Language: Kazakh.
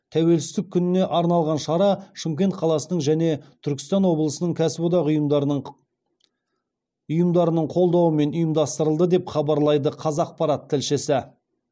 тәуелсіздік күніне арналған шара шымкент қаласының және түркістан облысының кәсіподақ ұйымдарының қолдауымен ұйымдастырылды деп хабарлайды қазақпарат тілшісі